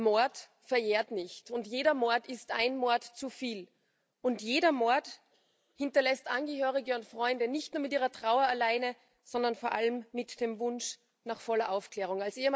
Mord verjährt nicht, jeder Mord ist ein Mord zu viel, und jeder Mord hinterlässt Angehörige und Freunde nicht nur mit ihrer Trauer alleine, sondern vor allem mit dem Wunsch nach voller Aufklärung.